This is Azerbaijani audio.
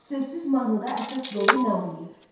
Sözsüz mahnıda əsas rolu nə oynayır?